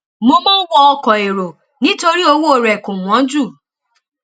mo máa n wọ ọkọ èrò nítorí owó rẹ kò wọn jù